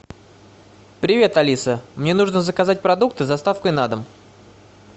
привет алиса мне нужно заказать продукты с доставкой на дом